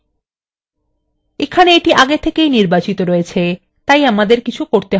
এখানে এটি আগে থেকেই নির্বাচিত রয়ছে তাই আমাদের কিছু করতে হবে so